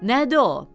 Nədi o?